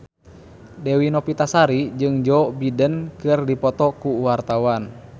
Dewi Novitasari jeung Joe Biden keur dipoto ku wartawan